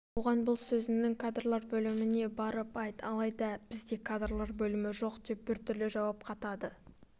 оған бұл сөзіңді кадрлар бөліміне барып айт алайда бізде кадрлар бөлімі жоқ деп біртүрлі жауап қатады